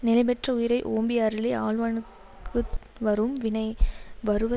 நிலைபெற்ற உயிரை ஓம்பி அருளை ஆள்வானுக்குத் வரும் வினை வருவ